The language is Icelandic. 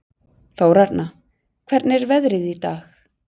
Þórarna, hvernig er veðrið í dag?